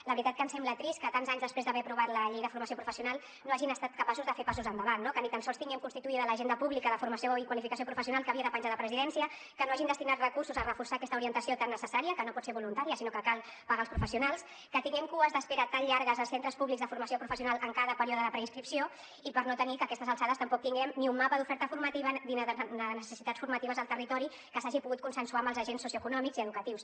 la veritat és que ens sembla trist que tants anys després d’haver aprovat la llei de formació professional no hagin estat capaços de fer passos endavant no que ni tan sols tinguem constituïda l’agència pública de formació i qualificació professionals que havia de penjar de presidència que no hagin destinat recursos a reforçar aquesta orientació tan necessària que no pot ser voluntària sinó que cal pagar els professionals que tinguem cues d’espera tan llargues als centres públics de formació professional en cada període de preinscripció i per no tenir que a aquestes alçades tampoc tinguem ni un mapa d’oferta formativa ni de necessitats formatives al territori que s’hagi pogut consensuar amb els agents socioeconòmics i educatius